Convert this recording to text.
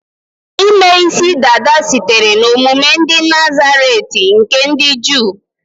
Ime isi dada sitere na omume ndị Nazaret nke ndị Juu